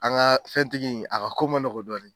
An ka fɛntigi in a ka ko ma nɔgɔ dɔɔni.